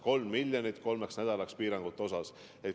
Nii et 3 miljonit kolmeks nädalaks.